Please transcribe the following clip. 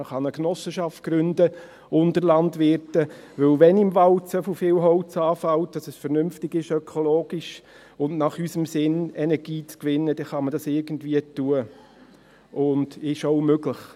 Man kann eine Genossenschaft gründen unter Landwirten, denn wenn im Wald so viel Holz anfällt, dass es vernünftig ist, ökologisch und in unserem Sinn Energie zu gewinnen, dann kann man das irgendwie tun und dann ist es auch möglich.